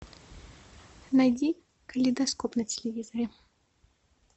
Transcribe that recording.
найди калейдоскоп на телевизоре